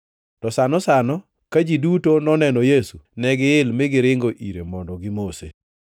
To sano sano ka ji duto noneno Yesu, negiyil mi giringo ire mondo gimose.